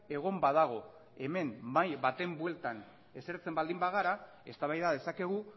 egon badago hemen mahai baten bueltan esertzen baldin bagara eztabaida dezakegu